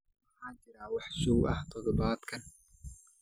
ma jiraan wax show ah todobaadkan